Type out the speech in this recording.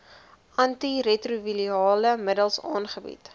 antiretrovirale middels aangebied